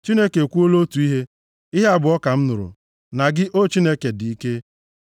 Chineke ekwuola otu ihe, ihe abụọ ka m nụrụ: “Na gị, O Chineke, dị ike,